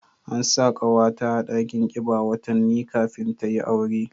An sa kawata a dakin kiba watanni kafin ta yi aure